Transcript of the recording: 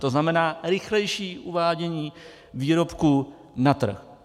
To znamená rychlejší uvádění výrobků na trh.